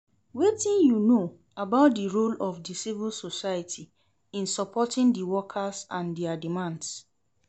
Wetin you know about di role of di civil society in supporting di workers and dia demands?